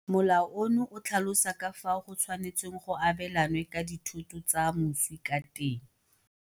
Molao ono o tlhalosa ka fao go tshwanetsweng go abelanwe ka dithoto tsa moswi ka teng.